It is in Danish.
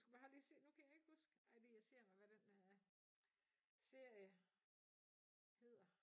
Jeg skulle have lige se nu kan jeg ikke huske ej det irriterer mig hvad den øh serie hedder